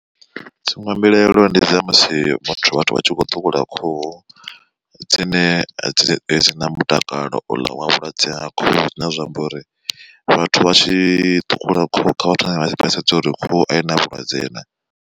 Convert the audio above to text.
Dziṅwe mbilaelo ndi dza musi muthu vhathu vha tshi kho ṱhukhula khuhu, dzine dzi dzi na mutakalo ola wa vhulwadze ha khuhu zwine zwa amba uri vhathu vha tshi ṱhukhula khuhu kha vha thome vha vha sedza uri khuhu i na vhulwadze na.